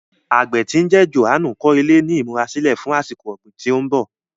Àgbẹ tí ń jẹ́ Jòhánù kọ ilẹ̀ ní ìmúra sílẹ̀ fún àsìkò ọ̀gbìn tí ń bọ̀.